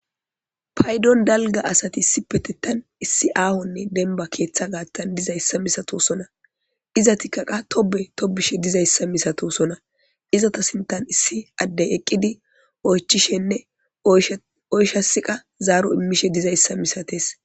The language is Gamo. Payidon daliga asati issippetetan issi aho daniba keeththa gatan dizayisa masatosona izatika qa tobiy tobishe dizayisa missatosona izata sinthan issi adde eqidi oyichishinee oyishes zaro imishe dizayisa misates.